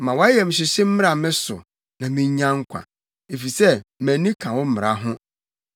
Ma wʼayamhyehye mmra me so, na minnya nkwa, efisɛ mʼani ka wo mmara ho.